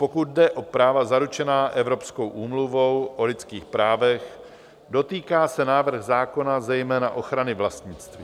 Pokud jde o práva zaručená Evropskou úmluvou o lidských právech, dotýká se návrh zákona zejména ochrany vlastnictví.